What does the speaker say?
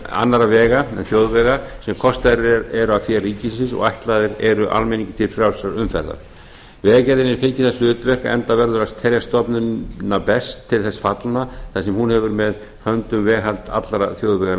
annarra vega en þjóðvega sem kostaðir eru af fé ríkisins og ætlaðir eru almenningi til frjálsrar umferðar vegagerðin hefur fengið það hlutverk enda verður að telja stofnana best til þess fallna þar sem hún hefur með höndum veghald allra þjóðvega